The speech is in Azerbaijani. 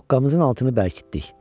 Doqqamızın altını bərkitdik.